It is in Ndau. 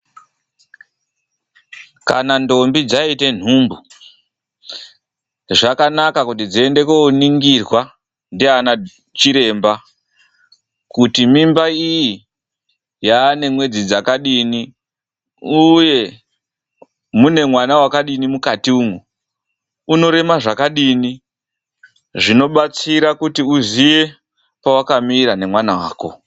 Kana ndombi dzaite nhumbu, zvakanaka kuti dziende kuoningirwa naana chiremba, kuti mimba iyi yaane mwedzi dzakadini uye mune mwana wakadini mukati umwu, unorema zvakadini, zvinobatsira kuti uzive pawakamira nemwana wako.